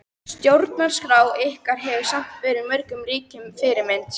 Stjórnarskrá ykkar hefur samt verið mörgum ríkjum fyrirmynd.